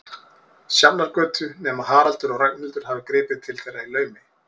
Sjafnargötu, nema Haraldur og Ragnhildur hafi gripið til þeirra í laumi.